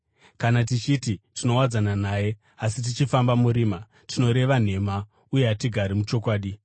Kana tichiti tinowadzana naye asi tichifamba murima, tinoreva nhema uye hatigari muchokwadi.